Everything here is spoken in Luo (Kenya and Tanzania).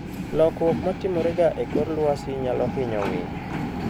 Lokruok ma timorega e kor lwasi nyalo hinyo winy.